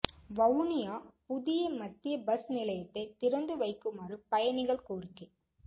வவுனியா புதிய மத்திய பஸ் நிலையத்தை திறந்து வைக்குமாறு பயணிகள் கோரிக்கை